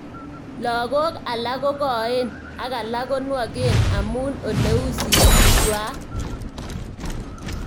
Lakok alak kokoen aka alak konwok amu oleu sikik kwaak.